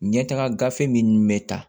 Ɲɛtaga gafe minnu bɛ ta